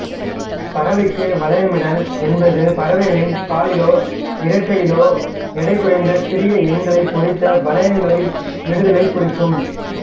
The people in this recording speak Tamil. பறவைக்கு வளையமிடல் என்பது பறவைகளின் காலிலோ இறக்கையிலோ எடை குறைந்த சிறிய எண்களைப் பொறித்த வளையங்களை இடுதலைக் குறிக்கும்